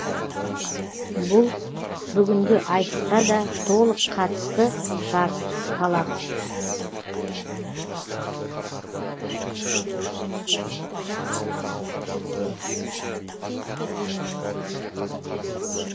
бұл бүгінгі айтысқа да толық қатысты шарт талап